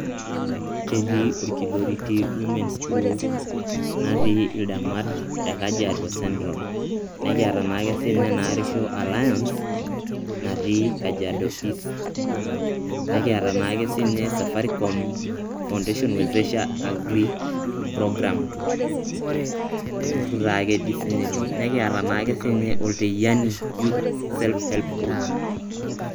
Ketii Olkiloriti Women's Group natii ildamat te Kajiado Central, nekiata naake siinye Narresho Aliance natii Kajiado East. Nekiata naake siinye Safaricom Foundation Wezesha Agri Program, olturur taake sininye ilo. Nekiata naake sininye Olteyiani yotuth self-help group.